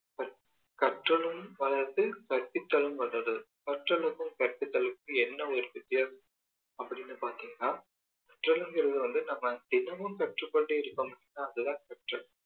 கற்றலும் வளருது கற்பித்தலும் வளருது கற்றலுக்கு கற்பித்தலுக்கும் என்ன ஒரு வித்தியாசம் அப்படீன்னு பார்த்தீங்கன்னா கற்றலுங்கிறது வந்து நம்ம தினமும் கற்று கொண்டே இருக்கிறோம் இல்லையா அது தான் கற்றல்